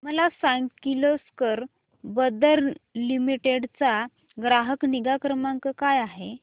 मला सांग Kirloskar brother limited चा ग्राहक निगा क्रमांक काय आहे